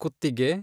ಕುತ್ತಿಗೆ